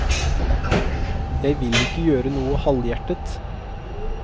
Jeg vil ikke gjøre noe halvhjertet.